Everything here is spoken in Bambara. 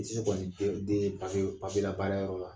I tɛ se kɔni den den ye papiye papiye la baara yɔrɔ la